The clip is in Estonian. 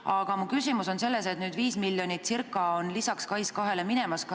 Aga mu küsimus on selles, et nüüd läheb SKAIS2-le lisaks circa 5 miljonit.